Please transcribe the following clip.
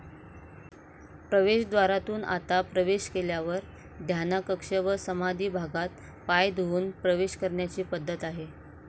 प्रवेशद्वारातून आता प्रवेश केल्यावर ध्यानाकक्ष व समाधी भागात पाय धुवून प्रवेश करण्याची पद्धत आहे.